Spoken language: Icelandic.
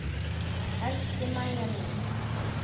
Elsku Mæja mín.